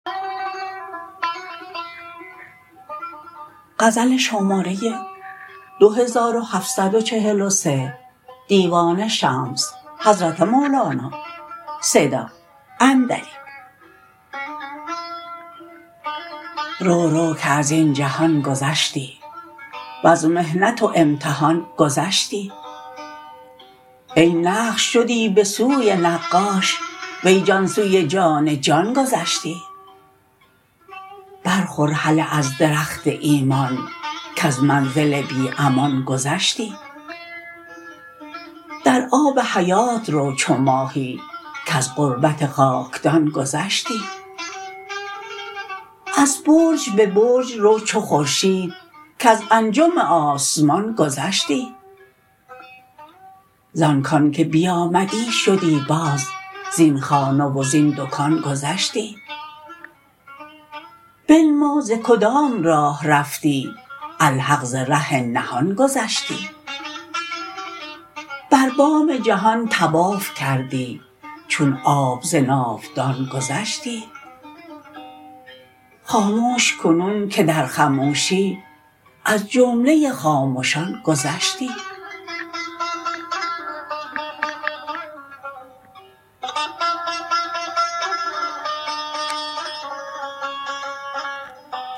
رو رو که از این جهان گذشتی وز محنت و امتحان گذشتی ای نقش شدی به سوی نقاش وی جان سوی جان جان گذشتی بر خور هله از درخت ایمان کز منزل بی امان گذشتی در آب حیات رو چو ماهی کز غربت خاکدان گذشتی از برج به برج رو چو خورشید کز انجم آسمان گذشتی زان کان که بیامدی شدی باز زین خانه و زین دکان گذشتی بنما ز کدام راه رفتی الحق ز ره نهان گذشتی بر بام جهان طواف کردی چون آب ز ناودان گذشتی خاموش کنون که در خموشی از جمله خامشان گذشتی